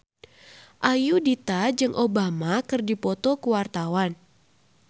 Ayudhita jeung Obama keur dipoto ku wartawan